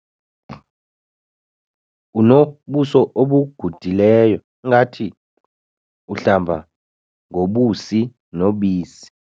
Unobuso obugudileyo ngathi uhlamba ngobusi nobisi.